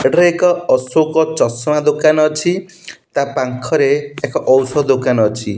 ଏଠାରେ ଏକ ଅଶୋକ ଚଷମା ଦୋକାନ ଅଛି ତା ପାଖରେ ଔଷଧ ଦୋକାନ ଅଛି।